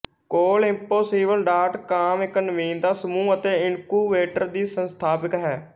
ਕੋਲ impossible dot com ਇੱਕ ਨਵੀਨਤਾ ਸਮੂਹ ਅਤੇ ਇਨਕੁਬੇਟਰ ਦੀ ਸੰਸਥਾਪਕ ਹੈ